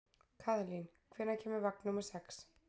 Kaðlín, hvenær kemur vagn númer sex?